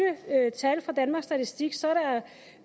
tal fra danmarks statistik